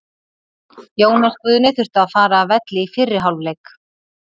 Jónas Guðni þurfti að fara af velli í fyrri hálfleik.